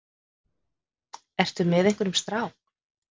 Ertu með einhverjum strák?